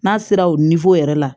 N'a sera o yɛrɛ la